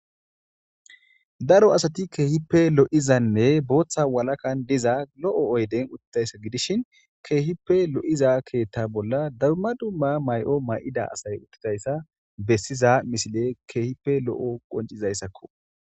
daro asati keehippe lo7izanne booththa walakan diza lo7o oyden uttidayssa gidishin keehippe lo7iza keetta bolla dabma dumma may7o may7ida asay uttidayssa bessiza misile keehipe lo7o qoncizayssakko